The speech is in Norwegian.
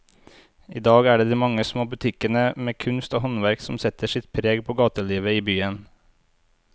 I dag er det de mange små butikkene med kunst og håndverk som setter sitt preg på gatelivet i byen.